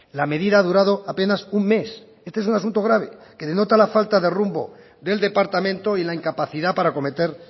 la medida ha durado apenas un mes este es el asunto grave que denota la falta de rumbo del departamento y la incapacidad para acometer